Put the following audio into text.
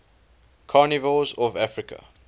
carnivores of africa